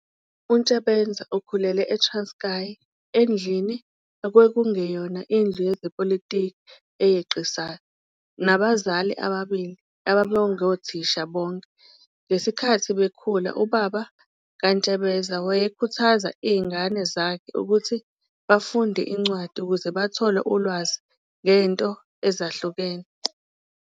UNtsebenza ukhulele, eTranskei endlini ekwakungeyona indlu yezepolitiki eyeqisayo, nabazali ababili ababengothisha bonke. Ngeskhathi bekhula ubaba kaNtsebeza wayekhuthaza ingane zakhe ukuthi bafunde iincwadi ukuze bathole ulwazi ngento ezihlukene.